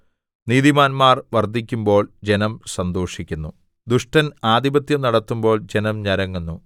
നീതിമാന്മാർ വർദ്ധിക്കുമ്പോൾ ജനം സന്തോഷിക്കുന്നു ദുഷ്ടൻ ആധിപത്യം നടത്തുമ്പോൾ ജനം ഞരങ്ങുന്നു